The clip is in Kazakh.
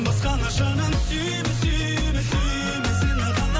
басқаны жаным сүйме сүйме сүйме сені ғана